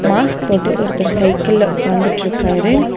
Mask போட்டு ஒருத்தர் சைக்கிள்ல உக்காந்துட்ருக்காரு.